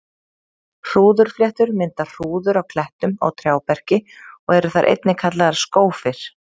Hrúðurfléttur mynda hrúður á klettum og trjáberki og eru þær einnig kallaðar skófir.